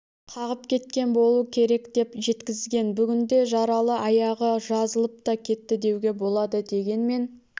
қағып кеткен болу керек деп жеткізген бүгінде жаралы аяғы жазылып та кетті деуге болады дегенмен